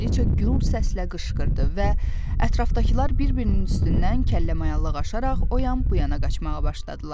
Kralıca gür səslə qışqırdı və ətrafdakılar bir-birinin üstündən kəlləmayallıq aşaraq o yan-bu yana qaçmağa başladılar.